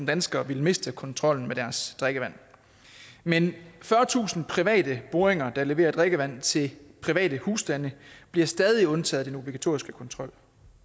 danskere ville miste kontrollen med deres drikkevand men fyrretusind private boringer der leverer drikkevand til private husstande bliver stadig undtaget fra den obligatoriske kontrol